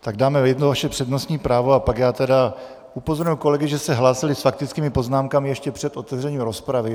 Tak dáme jedno vaše přednostní právo a pak já tedy upozorňuji kolegy, že se hlásili s faktickými poznámkami ještě před otevřením rozpravy.